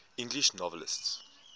english novelists